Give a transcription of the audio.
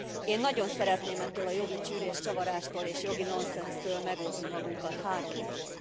Én nagyon szeretném ettől a jogi csűrés csavarástól és jogi nonszensztől megóvni magunkat három okból.